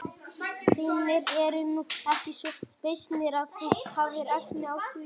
Þínir eru nú ekki svo beysnir að þú hafir efni á því.